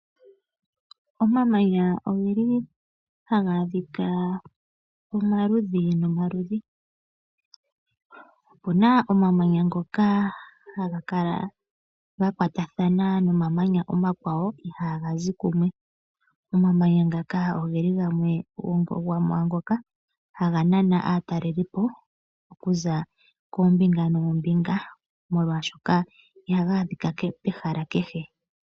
Omamanya oge li haga adhika omaludhi nomaludhi. Opu na omamanya ngoka haga kala ga kwatathana nomamanya omakwawo iha ga zi kumwe. Omamanya ngaka oge li gamwe gomwaangoka haga nana aatalelipo okuza koombinga noombinga molwashoka iha ga adhika pehala kehe.